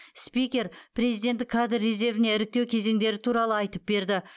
спикер президенттік кадр резервіне іріктеу кезеңдері туралы айтып берді